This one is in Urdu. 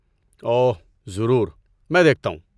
اوہ، ضرور، میں دیکھتا ہوں۔